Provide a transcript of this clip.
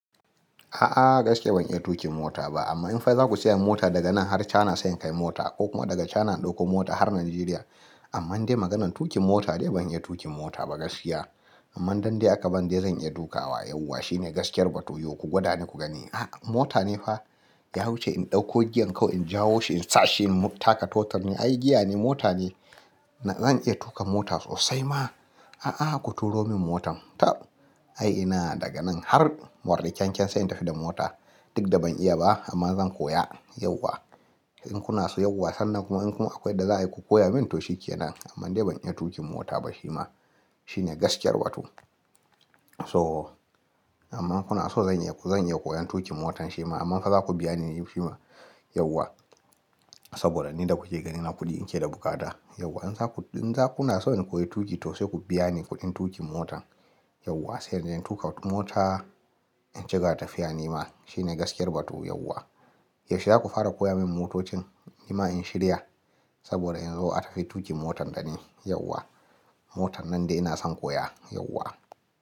A'a gaskiya ban iya tuƙin mota ba amma in fa za ku saya mota daga nan har China sai in kai mota ko kuma daga China in ɗauko mota har Nigeria. Amman dai maganan tuƙin mota dai ban iya tuƙin mota ba gaskiya. Amman dan dai aka bani dai zan iya duka wa yauwa shine gaskiyar batu yo ku gwada ni ku gani. A mota ne fa ya wuce in ɗauko giyan kawai in jawo shi in sashi in taka totur ne ai giya ne mota ne. Zan iya tuƙa mota sosai ma a'a ku turo min motan tab ai ina daga nan har morin keken sai in tafi da mota duk da ban iya ba amma zan koya yauwa. In kuna so yauwa sannan kuma in kuma akwai da za a yi ku koya min to shi ke nan amma dai ban iya tuƙin mota ba shi ma shine gaskiyar batu. So amma kuna so zan iya zan iya koyon tuƙin motan shi ma amma fa za ku biya ni yafi ma yauwa saboda ni da kuke ganin na kuɗi in ke da bukata yauwa. In za ku in za kuna so in koyi tuƙi to sai ku biya ni kuɗin tuƙin motan yauwa sai in je in tuƙa wata mota in cika tafiya nima shine gaskiyar batu yauwa. Yaushe za ku fara koya min motocin nima in shirya saboda in zo a tafi tuƙi motan da ni yauwa motan nan dai ina son koya yauwa.